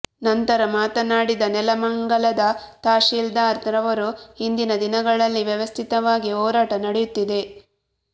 ನಂತರ ಮಾತನಾಡಿದ ನೆಲಮಂಗಲದ ತಹಶೀಲ್ದಾರ್ ರವರು ಇಂದಿನ ದಿನಗಳಲ್ಲಿ ವ್ಯವಸ್ಥಿತವಾಗಿ ಹೋರಾಟ ನಡೆಯುತ್ತಿದೆ